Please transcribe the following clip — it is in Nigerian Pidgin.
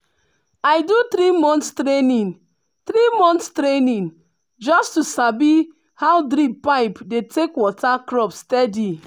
i do three-month training three-month training just to sabi how drip pipe dey take water crop steady.